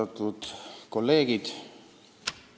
Austatud kolleegid!